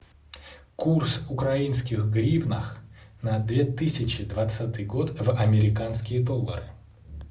курс украинских гривнах на две тысячи двадцатый год в американские доллары